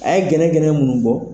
A ye gɛnɛ gɛnɛ mun bɔ